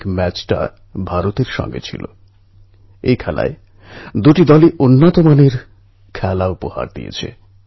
মানুষই প্রকৃতির সঙ্গে বিরোধের পথে এগিয়ে গেছে আর তারই ফলস্বরূপ কখনো কখনো প্রকৃতি আমাদের উপর বিরূপ হয়ে পড়ে